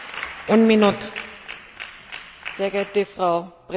Frau Präsidentin, Herr Berichterstatter, meine Damen und Herren!